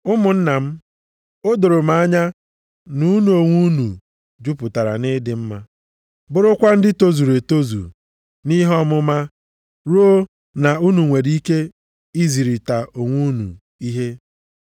Ụmụnna m, o doro m anya na unu onwe unu jupụtara nʼịdị mma, bụrụkwa ndị tozuru etozu nʼihe ọmụma ruo na unu nwere ike izirịta onwe unu ihe.